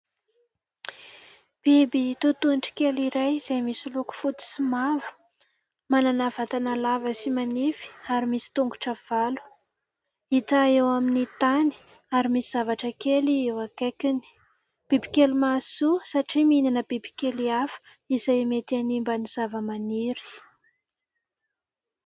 Biby totohondry kely iray izay misy loko fotsy sy mavo, manana vatana lava sy manify ary misy tongotra valo. Hita eo amin'ny tany ary misy zavatra kely eo akaikiny. Bibikely mahasoa satria mihinana bibikely hafa izay mety hanimba ny zavamaniry.